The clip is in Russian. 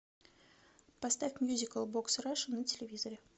поставь мьюзикл бокс раша на телевизоре